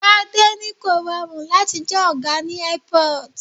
Gbade ní kò rọrùn láti jẹ́ ọ̀gá ní Airport.